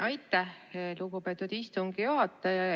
Aitäh, lugupeetud istungi juhataja!